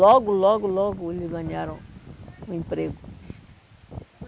Logo, logo, logo eles ganharam o emprego.